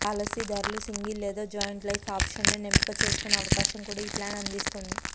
పాలసీదారులు single లేదా joint life ఆప్షన్లను ఎంపిక చేసుకునే అవకాశం కూడా ఈ ప్లాన్ అందిస్తుంది